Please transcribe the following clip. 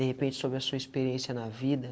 De repente sobre a sua experiência na vida.